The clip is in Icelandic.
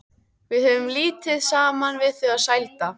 Við höfðum lítið saman við þau að sælda.